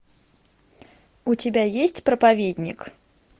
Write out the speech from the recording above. у тебя есть проповедник